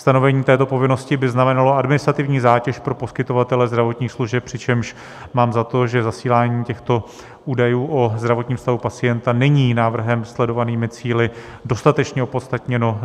Stanovení této povinnosti by znamenalo administrativní zátěž pro poskytovatele zdravotních služeb, přičemž mám za to, že zasílání těchto údajů o zdravotním stavu pacienta není návrhem sledovanými cíli dostatečně opodstatněno.